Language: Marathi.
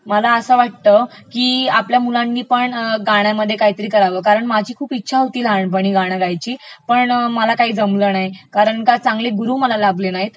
मला असं वाटतं की आपल्या मुलांनीपण गाण्यामध्ये काहीतरी करावं कारण माझी खूप इच्छा होती लहानपणी गाणं गायची, पम मला काही जमलं नाही, कराण की चांगले गुरू मला लाभले नाहीत.